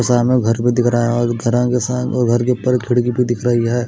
सामने घर भी दिख रहा है और घरां के घर के ऊपर खिड़की भी दिख रही है।